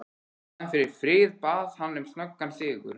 Í staðinn fyrir frið bað hann um snöggan sigur.